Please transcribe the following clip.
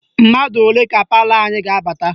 Mmadụ ole ka palọ anyị ga-abata?